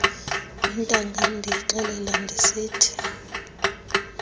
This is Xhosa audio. intangam ndiyixelela ndisithi